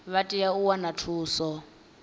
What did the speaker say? vha tea u wana thuso